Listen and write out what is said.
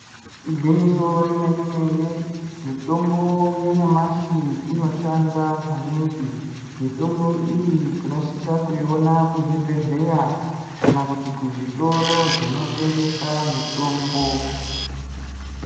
Igwinyiso remene-mene, mitombo yanyamashi inoshanda maningi. Mitombo iyi tinosisa kuiona kuzvibhedhleya, kana kuti kuzvitoro zvinotengesa mitombo.